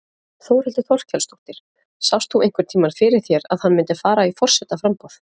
Þórhildur Þorkelsdóttir: Sást þú einhvern tímann fyrir þér að hann myndi fara í forsetaframboð?